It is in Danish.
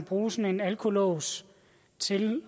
bruge sådan en alkolås til